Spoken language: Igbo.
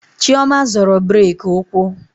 Chioma zọrọ brake ụkwụ